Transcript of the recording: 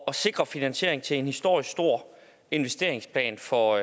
at sikre finansieringen til en historisk stor investeringsplan for